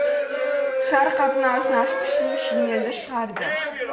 сары қаптың аузын ашып ішінен шинелді шығарды